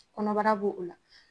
Kɔnɔbara b'o o la